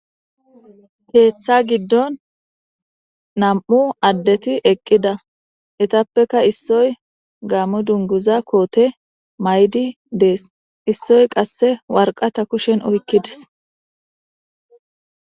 Keeththa giddon nam7u addethi eqqida; ethappeka issoy gaamo dungguza koothe mayidi dees; issoy qassi warqatha kushen oykki des.